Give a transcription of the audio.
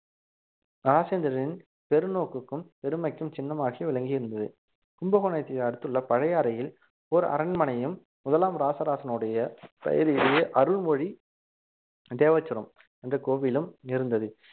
ராஜேந்திரனின் பெருநோக்குக்கும் பெருமைக்கும் சின்னமாகி விளங்கியிருந்தது கும்பகோணத்தை அடுத்துள்ள பழையாறையில் ஒரு அரண்மனையும் முதலாம் ராசராசனுடைய பெயரிலேயே அருள்மொழி தேவச்சுரம் என்ற கோவிலும் இருந்தது